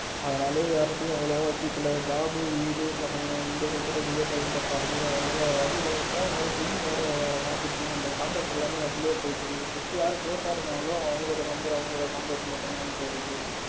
அதனால யார்கிட்டயும் அவ்வளவா பேசிக்கல. job வீடு பசங்க இங்க சுத்துறதுக்கே time correct டா இருக்கு. அதனால யார்கிட்டயும் இல்ல phone வேற sim வேற மாத்திட்டேனா so contact எல்லாமே அதிலேயே போயிடுச்சு. just யாரு close இருந்தாங்களோ அவங்களோட number அவங்களோட contact மட்டும்தான் bro இருக்கு.